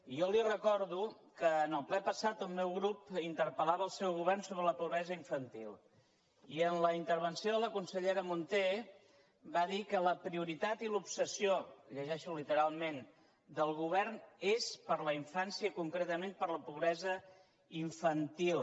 jo li recordo que en el ple passat el meu grup interpel·lava el seu govern sobre la pobresa infantil i en la intervenció de la consellera munté va dir que la prioritat i l’obsessió ho llegeixo literalment del govern és per la infància i concretament per la pobresa infantil